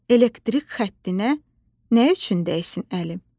Elektrik xəttinə nə üçün dəysin əlim?